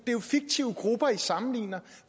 er jo fiktive grupper i sammenligner